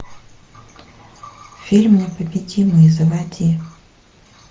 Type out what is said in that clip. фильм непобедимый заводи